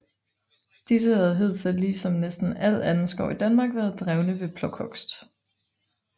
Disse havde hidtil lige som næsten al anden skov i Danmark været drevne ved plukhugst